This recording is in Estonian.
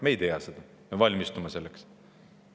Me ei tea seda, aga me valmistume selleks.